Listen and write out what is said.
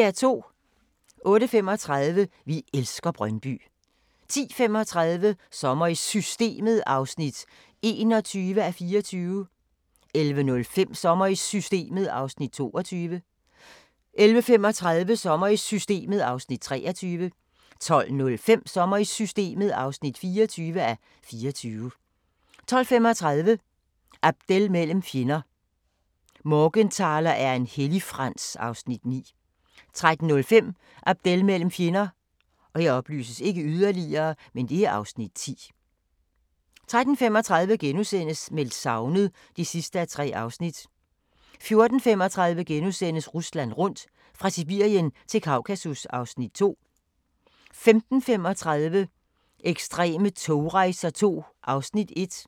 08:35: Vi elsker Brøndby 10:35: Sommer i Systemet (21:24) 11:05: Sommer i Systemet (22:24) 11:35: Sommer i Systemet (23:24) 12:05: Sommer i Systemet (24:24) 12:35: Abdel mellem fjender – "Morgenthaler er en helligfrans" (Afs. 9) 13:05: Abdel mellem fjender (Afs. 10) 13:35: Meldt savnet (3:3)* 14:35: Rusland rundt – fra Sibirien til Kaukasus (Afs. 2)* 15:35: Ekstreme togrejser II (1:6)